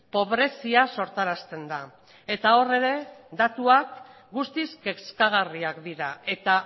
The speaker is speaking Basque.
pobrezia sortarazten da eta hor ere datuak guztiz kezkagarriak dira eta